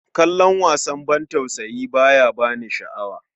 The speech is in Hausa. Kallon wasan bantausayi ba ya ba ni sha'awa.